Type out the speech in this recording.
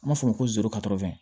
An b'a fɔ o ma ko zon katatɛ